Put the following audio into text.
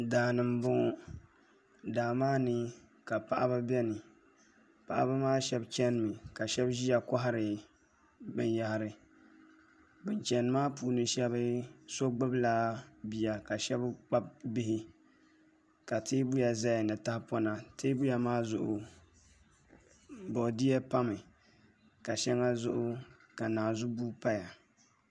Daani n boŋo daa maa ni ka paɣaba biɛni paɣaba maa shab chɛnimi ka shab ʒiya kohari binyahari bin chɛni maa puuni so gbubila bia ka shab kpabi bihi ka teebuya ʒɛya ni tahapona teebuya maa zuɣu boodiyɛ pami ka shɛŋa zuɣu ka naanzu buhi paya